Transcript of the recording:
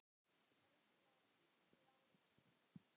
Ríflega tuttugu árum síðar.